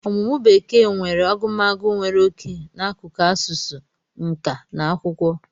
Ọmụmụ Bekee na agụmagụ nwere oke n'akụkụ asụsụ, nka na akwụkwọ.